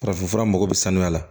Farafinfura mago bɛ sanuya la